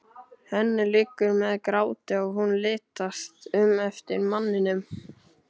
Henni liggur við gráti og hún litast um eftir manninum.